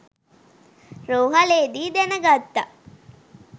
රෝහ‍ලේ දී දැන ගත්තා.